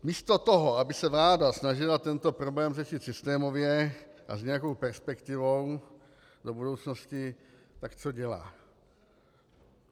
Místo toho, aby se vláda snažila tento problém řešit systémově a s nějakou perspektivou do budoucnosti, tak co dělá?